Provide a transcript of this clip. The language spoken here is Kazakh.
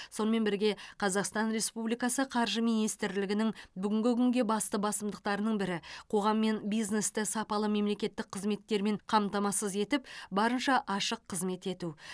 сонымен бірге қазақстан республикасы қаржы министрлігінің бүгінгі күнгі басты басымдықтарының бірі қоғам мен бизнесті сапалы мемлекеттік қызметтермен қамтамасыз етіп барынша ашық қызмет ету